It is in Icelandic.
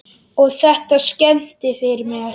Og þetta skemmdi fyrir mér.